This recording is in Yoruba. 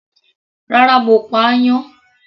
Rárá, mo pa áyán.